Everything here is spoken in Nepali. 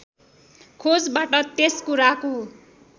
खोजबाट यस कुराको